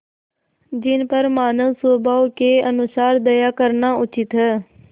जिन पर मानवस्वभाव के अनुसार दया करना उचित है